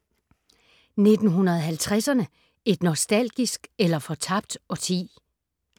1950’erne - et nostalgisk eller fortabt årti?